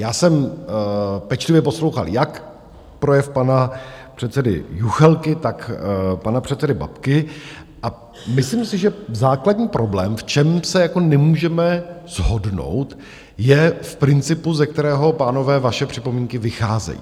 Já jsem pečlivě poslouchal jak projev pana předsedy Juchelky, tak pana předsedy Babky, a myslím si, že základní problém, v čem se jako nemůžeme shodnout, je v principu, ze kterého, pánové, vaše připomínky vycházejí.